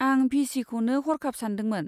आं भि सिखौनो हरखाब सानदोंमोन।